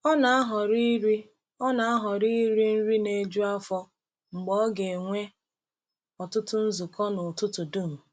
Ọ na-ahọrọ iri Ọ na-ahọrọ iri nri na-eju afọ mgbe ọ ga-enwe ọtụtụ nzukọ n’ụtụtụ dum.